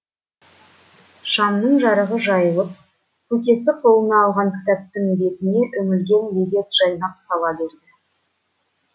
шамның жарығы жайылып көкесі қолына алған кітаптың бетіне үңілген мезет жайнап сала берді